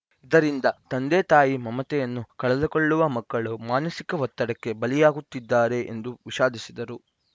ಇದರಿಂದ ತಂದೆತಾಯಿ ಮಮತೆಯನ್ನು ಕಳೆದುಕೊಳ್ಳುವ ಮಕ್ಕಳು ಮಾನಸಿಕ ಒತ್ತಡಕ್ಕೆ ಬಲಿಯಾಗುತ್ತಿದ್ದಾರೆ ಎಂದು ವಿಷಾದಿಸಿದರು